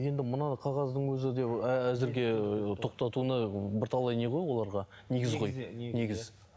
енді мына қағаздың өзі де ы әзірге ы тоқтатуына бірталай не ғой оларға негіз ғой негіз